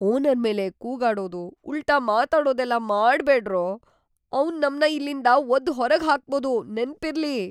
Owner ಮೇಲೆ ಕೂಗಾಡೋದು, ಉಲ್ಟಾ ಮಾತಾಡೋದೆಲ್ಲ ಮಾಡ್ಬೇಡ್ರೋ! ಅವ್ನ್‌ ನಮ್ನ ಇಲ್ಲಿಂದ ಒದ್ದು ಹೊರಗ್ ಹಾಕ್ಬೋದು, ನೆನ್ಪಿರ್ಲಿ!